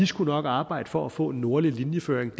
skulle arbejde for at få en nordlig linjeføring og